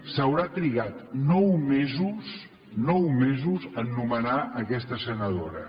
s’haurà trigat nou mesos nou mesos a nomenar aquesta senadora